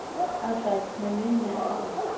Ársæl, mun rigna í dag?